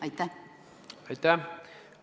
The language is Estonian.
Aitäh!